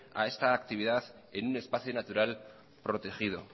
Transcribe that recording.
a esta actividad en un espacio natural protegido